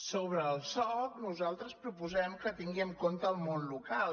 sobre el soc nosaltres proposem que tingui en compte el món local